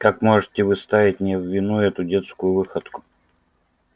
как можете вы ставить мне в вину эту детскую выходку